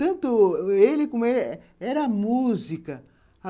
Tanto ele como ela, era música.